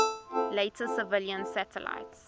later civilian satellites